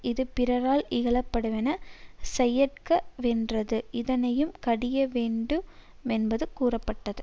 இது பிறரால் இகழப்படுவன செய்யற்க வென்றது இதனையும் கடிய வேண்டு மென்பது கூறப்பட்டது